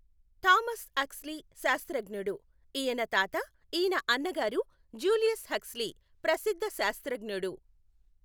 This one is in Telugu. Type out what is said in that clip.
థామస్ హక్స్ లి శాస్త్రజ్ఞడు. ఈయన తాత ఈయన అన్నగారు జ్యూలియస్ హక్స్ లీ ప్రసిద్ధ శాస్త్రజ్ఞడు.